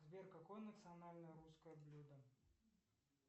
сбер какое национальное русское блюдо